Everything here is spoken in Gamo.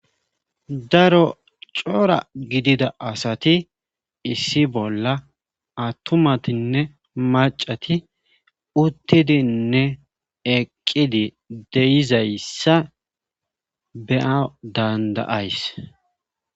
daro cora gidida asati issi bolla attumatinne macati uttidinne eqqidi deyizayssa beaa dandayays